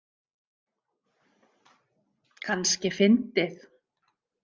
Kannski fyndið.